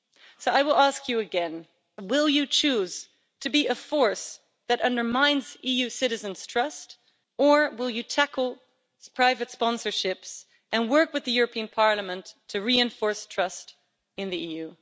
So I will ask you again, will you choose to be a force that undermines EU citizens' trust, or will you tackle these private sponsorships and work with the European Parliament to reinforce trust in the EU?